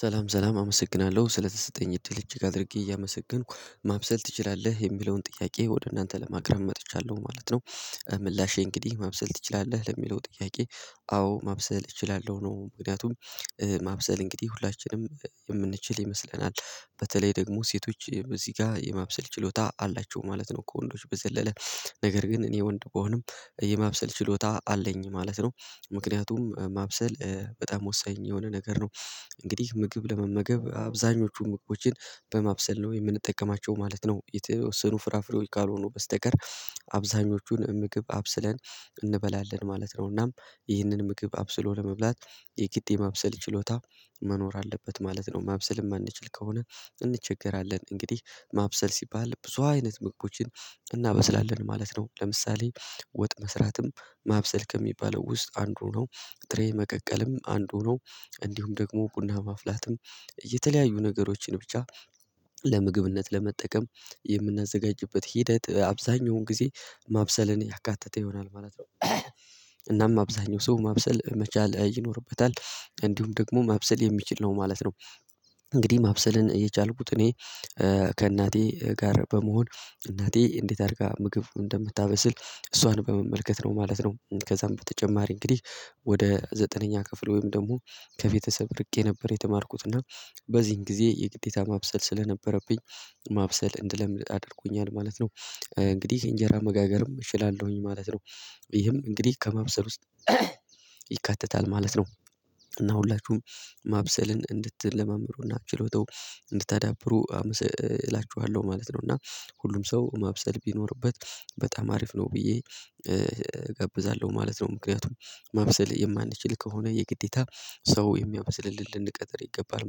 ሰላም ሰላም አመሰግናለሁ ስለተሰጠኝ እድል እጅግ አድርጌ እያመሰገንኩ ማብሰል ትችላለህ የሚለውን ጥያቄ ወደ እናንተ ለማቅረብ መጥቻለሁ ማለት ነው። ምላሼ እንግዲህ ማብሰል ትችላለህ ለሚለው ጥያቄ? አዎ ማብሰል እችላለሁ ነው። ምክንያቱም ማብሰል እንግዲህ ሁላችንም የምንችል ይመስለናል በተለይ ደግሞ ሴቶች እዚህ ጋር የማብሰል ችሎታ አላቸው ማለት ነው። ከወንዶች በዘለለ ነገር ግን እኔ ወንድ ቢሆንም የማብሰል ችሎታ አለኝ ማለት ነው። ምክንያቱም ማብሰል በጣም ወሳኝ የሆነ ነገር ነው። እንግዲህ ምግብ ለመመገብ አብዛኞቹን ምግቦችን በማብሰል ነው የምንጠቀማቸው ማለት ነው። የተወሰኑ ፍራፍሬው ካልሆኑ በስተቀር አብዛኞቹን ምግብ አብስለን እንበላለን ማለት ነውና። ይህንን ምግብ አብስሎ ለመብላት የጊድ የማብሰል ችሎታ መኖር አለበት ማለት ነው። ማብሰል ማንችል ከሆነ እንቸገራለን። እንግዲህ ማብሰል ሲባል ብዙ አይነት ምግቦችን እናበስላለን ማለት ነው። ለምሳሌ ወጥ መስራትም ማብሰል ከሚባለው ውስጥ አንዱ ነው። ጥሬ መቀቀልም አንዱ ነው። እንዲሁም ደግሞ ቡና ማፍላትም የተለያዩ ነገሮችን ብቻ ለምግብነት ለመጠቀም የምናዘጋጅበት ሂደት አብዛኛውን ጊዜ ማብሰልን ያካተተ ይሆናል ማለት ነው። እናም አብዛኛው ሰው ማብሰል መቻል ይኖርበታል እንዲሁም ደግሞ ማብሰል የሚችል ነው ማለት ነው። እንግዲህ ማብሰልን የቻልኩት እኔ ከእናቴ ጋር በመሆን እናቴ እንዴት አድርጋ ምግብ እንደምታበስል እሷን በመመልከት ነው ማለት ነው። ከዛም በተጨማሪ እንግዲህ ወደ ዘጠነኛ ክፍል ወይም ደግሞ ከቤተሰብ ርቄ ነበር የተማርኩት እና በዚህን ጊዜ የግዴታ ማብሰል ስለነበረብኝ ማብሰል እንድለምድ አድርጎኛል ማለት ነው። እንግዲህ እንጀራ መጋገርም እችላለሁኝ ማለት ነው። ይህም እንግዲህ ከመብሰል ውስጥ ይካተታል ማለት ነው። እና ሁላችሁም ማብሰልን እንድትለማመሩና ችሎታው እንድታዳብሩ እላችኋለሁ ማለት ነው። እና ሁሉም ሰው ማብሰል ቢኖርበት በጣም አሪፍ ነው ብዬ እገብዛለሁ ማለት ነው። ምክንያቱም ማብሰል የማንችል ከሆነ የግዴታ ሰው የሚያብስልልን ልንቀጥር ይገባል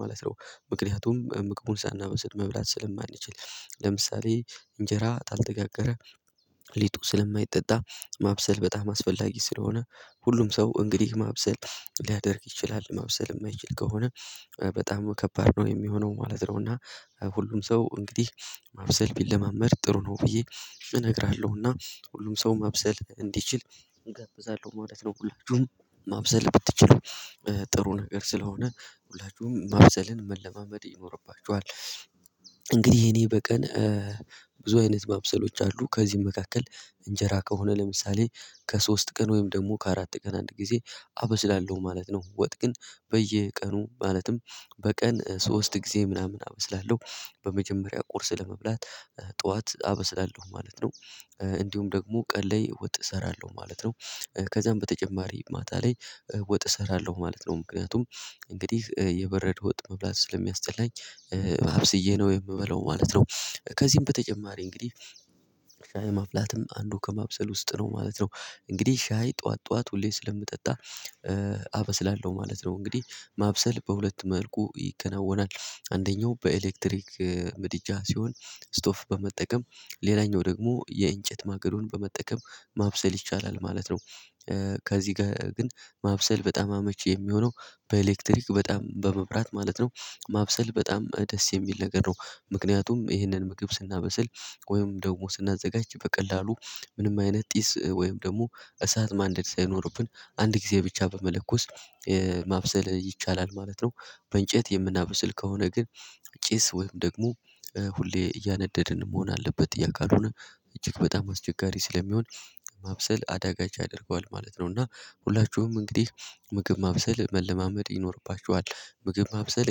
ማለት ነው። ምክንያቱም ምግቡን ሳናበስል መብላት ስለማንችል ለምሳሌ እንጀራ ካልተጋገረ ሊጡ ስለማይጠጣ ማብሰል በጣም አስፈላጊ ስለሆነ ሁሉም ሰው እንግዲህ ማብሰል ሊያደርግ ይችላል ማብሰል የማይችል ከሆነ በጣም ከባድ ነው የሚሆነው ማለት ነው። እና ሁሉም ሰው እንግዲህ ማብሰል ቢለማመድ ጥሩ ነው ብዬ እነግርሃለሁና ሁሉም ሰው ማብሰል እንዲችል እገብዛለሁ ማለት ነው። ሁላችሁም ማብሰል ብትችል ጥሩ ነገር ስለሆነ ሁላችሁም ማፍሰልን መለማመድ ይኖርባችኋል። እንግዲህ እኔ በቀን ብዙ አይነት ማብሰሎች አሉ ከዚህም መካከል እንጀራ ከሆነ ለምሳሌ ከሶስት ቀን ወይም ደግሞ ከአራት ቀን አንድ ጊዜ አበስላለሁ ማለት ነው። ወጥ ግን በየቀኑ ማለትም በቀን ሶስት ጊዜ ምናምን አበስላለሁ በመጀመሪያ ቁርስ ለመብላት ጠዋት አበስላለሁ ማለት ነው። እንዲሁም ደግሞ ቀን ለይ ወጥ እሰራለሁ ማለት ነው። ከዛም በተጨማሪ ማታ ላይ ወጥ እሰራለሁ ማለት ነው ምክንያቱም እንግዲህ የበረደ ወጥ መብላት ስለሚያስጠላኝ አብስዬ ነው የምበለው ማለት ነው። ከዚህም በተጨማሪ እንግዲህ ማፍላትም አንዱ ከማብሰል ውስጥ ነው ማለት ነው። እንግዲህ ሻይ ጠዋት ጠዋት ሁሌ ስለምጠጣ አበስላለሁ ማለት ነው። እንግዲህ ማብሰል በሁለት መልኩ ይከናወናል። አንደኛው በኤሌክትሪክ ምድጃ ሲሆን ስቶፍ በመጠቀም ሌላኛው ደግሞ የእንጨት ማገዶን በመጠቀም ማብሰል ይቻላል ማለት ነው። ከዚህ ጋር ግን ማብሰል በጣም አመቺ የሚሆነው በኤሌክትሪክ በጣም በመብራት ማለት ነው። ማብሰል በጣም ደስ የሚል ነገር ነው። ምክንያቱም ይህንን ምግብ ስናበስል ወይም ደግሞ ስናዘጋጅ በቀላሉ ምንም አይነት ጢስ ወይም ደግሞ እሳት ማንደድ ሳይኖርብን አንድ ጊዜ ብቻ በመለኮስ ማብሰል ይቻላል ማለት ነው። በእንጨት የምናብስል ከሆነ ግን ጭስ ወይም ደግሞ ሁሌ እያነደድን መሆን አለበት ያ ካልሆነ እጅግ በጣም አስቸጋሪ ስለሚሆን ማብሰል አዳጋች ያደርገዋል ማለት ነው። እና ሁላችሁም እንግዲህ ምግብ ማብሰል መለማመድ ይኖርባችኋል ምግብ ማብሰል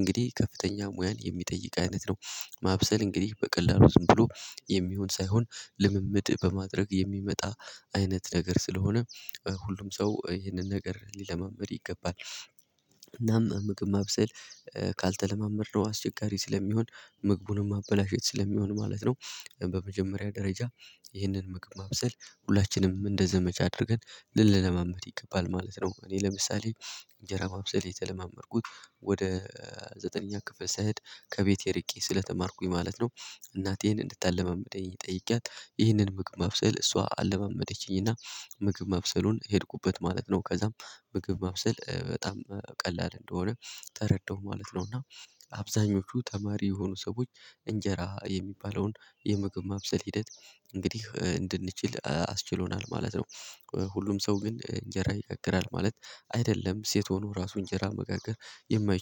እንግዲህ ከፍተኛ ሙያን የሚጠይቅ አይነት ነው። ማብሰል እንግዲህ በቀላሉ ዝም ብሎ የሚሆን ሳይሆን ልምምድ በማድረግ የሚመጣ አይነት ነገር ስለሆነ። ሁሉም ሰው ይህንን ነገር ሊለማመድ ይገባል እናም ምግብ ማብሰል ካልተለማመድነው አስቸጋሪ ስለሚሆን ምግቡንም አበላሸት ስለሚሆን ማለት ነው። በመጀመሪያ ደረጃ ይህንን ምግብ ማብሰል ሁላችንም እንደ ዘመቻ አድርገን ልንለማመድ ይገባል ማለት ነው። እኔ ለምሳሌ እንጀራ ማብሰል የተለማመድኩት ወደ ዘጠነኛ ክፍል ስሄት ከቤቴ ርቄ ስለተማርኩኝ ማለት ነው። እናቴን እንድታለማምደኝ ጠይቄያት ይህንን ምግብ መብሰል እሷ አለመመደችኝና ምግብ መብሰሉን ሄድኩበት ማለት ነው። ከዛም ምግብ መብሰል በጣም ቀላል እንደሆነ ተረዳሁ ማለት ነው። እና አብዛኞቹ ተማሪ የሆኑ ሰዎች እንጀራ የሚባለውን የምግብ ማብሰል ሂደት እንግዲህ እንድንችል አስችሎናል ማለት ነው። ሁሉም ሰው ግን እንጀራ ይጋግራል ማለት አይደለም ሴት ሆኖ ራሱ እንጀራ መጋገር የማይችል